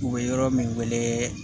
U bɛ yɔrɔ min wele